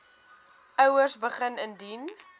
ouers begin indien